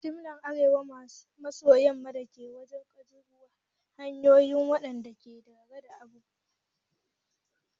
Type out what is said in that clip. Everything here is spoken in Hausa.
Jami'ar Arewa maso yamma dakin gwaje gwaje halittu wadanda ke da na'urar hangen kananun abubuwa da sauran kayan aiki.